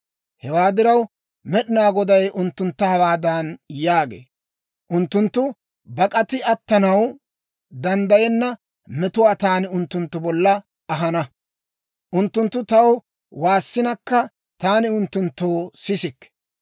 Hewaa diraw, Med'inaa Goday unttuntta hawaadan yaagee; ‹Unttunttu bak'atiide attanaw danddayenna metuwaa taani unttunttu bolla ahana. Unttunttu taw waassinakka, taani unttunttoo sisikke.